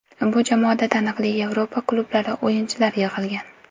Bu jamoada taniqli Yevropa klublari o‘yinchilari yig‘ilgan.